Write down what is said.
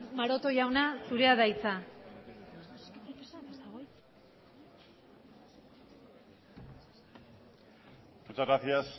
maroto jauna zurea da hitza muchas gracias